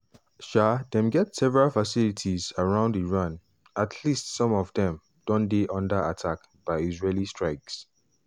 um dem get several facilities around iran at least some of dem don dey under attack by israeli strikes.